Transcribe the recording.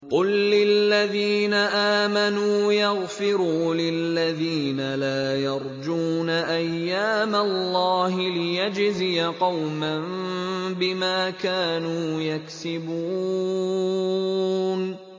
قُل لِّلَّذِينَ آمَنُوا يَغْفِرُوا لِلَّذِينَ لَا يَرْجُونَ أَيَّامَ اللَّهِ لِيَجْزِيَ قَوْمًا بِمَا كَانُوا يَكْسِبُونَ